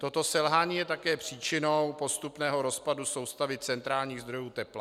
Toto selhání je také příčinou postupného rozpadu soustavy centrálních zdrojů tepla.